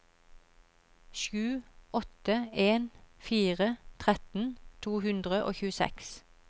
sju åtte en fire tretten to hundre og tjueseks